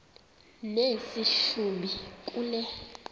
nesi hlubi kule